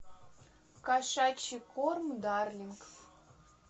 кошачий корм дарлинг